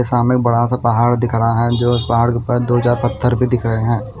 सामने बड़ा सा पहाड़ दिख रहा है जो पहाड़ के ऊपर दो चार पत्थर भी दिख रहे हैं।